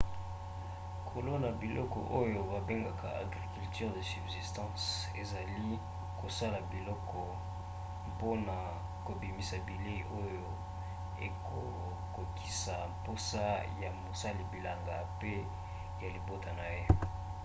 kolona biloko oyo babengaka agriculture de subsistance ezali kosala biloko mpona kobimisa bilei oyo ekokokisa bamposa ya mosali bilanga mpe ya libota na ye